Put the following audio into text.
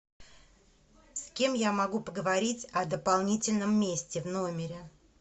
с кем я могу поговорить о дополнительном месте в номере